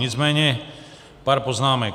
Nicméně pár poznámek.